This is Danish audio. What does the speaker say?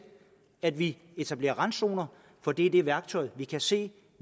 at vi etablerer randzoner for det er det værktøj vi kan se